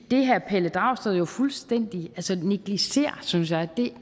det herre pelle dragsted jo fuldstændig negligerer synes jeg